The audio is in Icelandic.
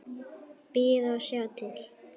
Bíða og sjá til.